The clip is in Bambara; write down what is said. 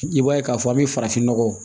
I b'a ye k'a fɔ an bɛ farafinnɔgɔ